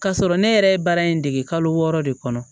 K'a sɔrɔ ne yɛrɛ ye baara in dege kalo wɔɔrɔ de kɔnɔ